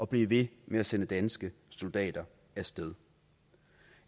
blive ved med at sende danske soldater af sted